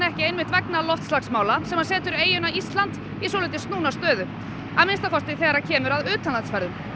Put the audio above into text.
vegna loftslagsmála sem setur eyjuna Ísland í svolítið snúna stöðu að minnsta kosti þegar kemur að utanlandsferðum